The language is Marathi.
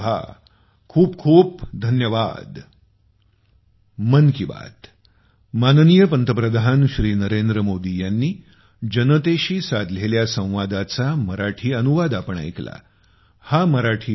खूप खूप धन्यवाद